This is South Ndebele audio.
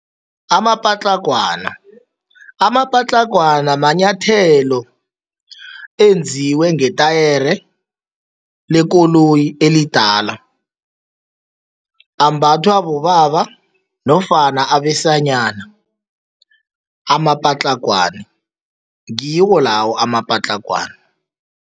Amapatlagwana, amapatlagwana manyathelo enziwe ngetayere lekoloyi elidala. Ambathwa bobaba nofana abesana amapatlagwana, ngiwo lawo amapatlagwana.